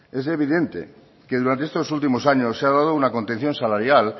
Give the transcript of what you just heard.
es evidente que durante estos últimos años se ha dado una contención salarial